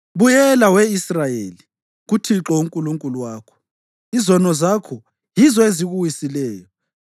Buyela, we Israyeli, kuThixo uNkulunkulu wakho. Izono zakho yizo ezikuwisileyo!